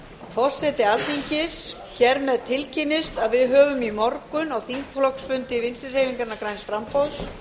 forseti alþingis hér með tilkynnist að við höfum í morgun á þingflokksfundi vinstri hreyfingarinnar græns framboðs